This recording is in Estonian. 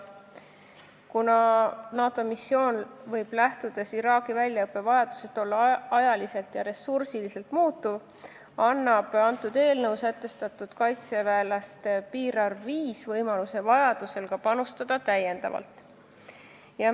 Kuna see NATO missioon võib Iraagi väljaõppevajadusest lähtudes ajalises ja ressursilises plaanis muutuda, annab eelnõus sätestatud kaitseväelaste piirarv 5 võimaluse vajadusel täiendavalt panustada.